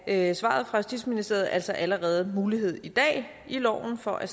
af svaret fra justitsministeriet altså allerede mulighed i dag i loven for at